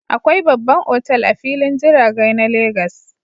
Akwai babban otal a filin jiragai na legas